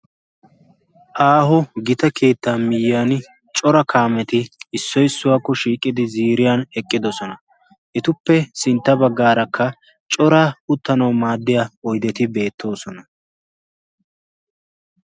Aaho gita kiitta miyyiyan cora kaameti issoi suwaakko shiiqqidi ziriyan eqqidosona etuppe sintta baggaarakka cora uttanau maaddiya oideti beettoosona.